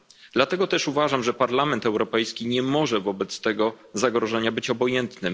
Dlatego też uważam, że Parlament Europejski nie może wobec tego zagrożenia być obojętny.